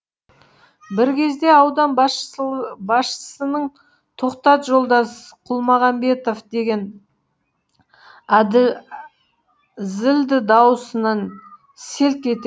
бір кезде аудан басшысының тоқтат жолдас құлмағанбетов деген зілді дауысынан селк ете